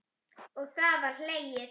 Og það var hlegið.